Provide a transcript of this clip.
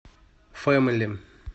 фэмили